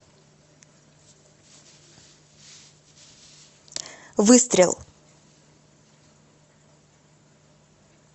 выстрел